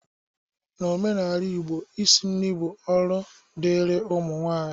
N'omenala Igbo, Isi nri bụ ọrụ dịrị ụmụ nwaanyị.